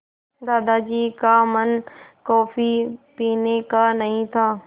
दादाजी का मन कॉफ़ी पीने का नहीं था